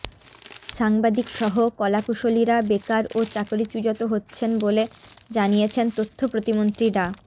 সাংবাদিকসহ কলাকুশলীরা বেকার ও চাকরিচু্যত হচ্ছেন বলে জানিয়েছেন তথ্য প্রতিমন্ত্রী ডা